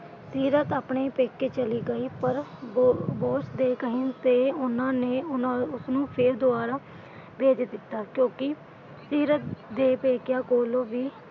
ਸੀਰਤ ਆਪਣੇ ਪੇਕੇ ਚਲੀ ਗਈ ਪਰ ਬੌਸ ਦੇ ਕਹਿਣ ਤੇ ਉਨ੍ਹਾਂ ਨੇ ਉਨ੍ਹਾਂ ਉਸਨੂੰ ਫੇਰ ਦੁਬਾਰਾ ਭੇਜ ਦਿੱਤਾ ਕਿਉਂਕਿ ਸੀਰਤ ਦੇ ਪੇਕਿਆਂ ਕੋਲੋਂ ਵੀ,